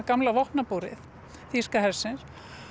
gamla vopnabúri þýska hersins